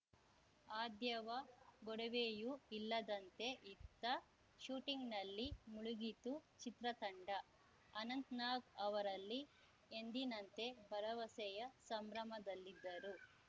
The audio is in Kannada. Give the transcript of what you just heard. ಆದ್ಯವ ಗೊಡವೆಯೂ ಇಲ್ಲದಂತೆ ಇತ್ತ ಶೂಟಿಂಗ್‌ನಲ್ಲಿ ಮುಳುಗಿತ್ತು ಚಿತ್ರತಂಡ ಅನಂತ್‌ನಾಗ್‌ ಅವರಲ್ಲಿ ಎಂದಿನಂತೆ ಭರವಸೆಯ ಸಂಭ್ರಮದಲ್ಲಿದ್ದರು